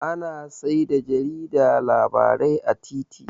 Ana saida jarida labarai a titi